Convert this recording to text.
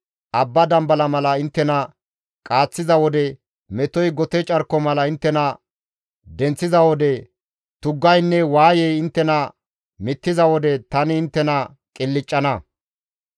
Bashshi abba dambala mala inttena qaaththiza wode, metoy gote carko mala inttena denththiza wode, tuggaynne waayey inttena mittiza wode tani inttena qilccana.